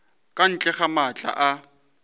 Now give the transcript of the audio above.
ka ntle ga maatla a